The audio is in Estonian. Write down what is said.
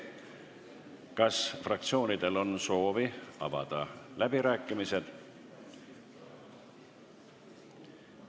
Kas fraktsioonidel on soovi avada läbirääkimised?